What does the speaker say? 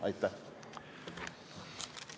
Aitäh!